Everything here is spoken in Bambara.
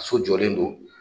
so jɔlen do.